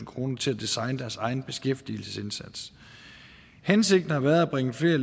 kroner til at designe deres egen beskæftigelsesindsats hensigten har været at bringe flere